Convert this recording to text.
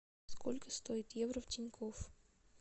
сколько стоит евро в тинькофф